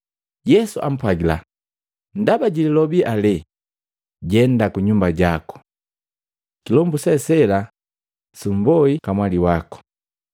Yesu ampwagila, “Ndaba jililobi alee, jenda kunyumba jaku. Kilombu se sela sumboi kamwali wako!”